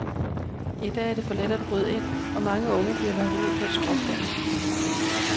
I dag er det for let at bryde ind, og mange unge bliver lokket ud på et skråplan.